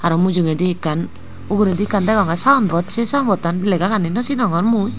aro mujeindi ekkan ugurnedi ekkan degongye sign board se sign board tan lega gani no sinongor mui.